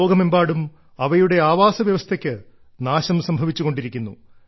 ലോകമെമ്പാടും അവരുടെ ആവാസ വ്യവസ്ഥയ്ക്ക് നാശം സംഭവിച്ചുകൊണ്ടിരിക്കുന്നു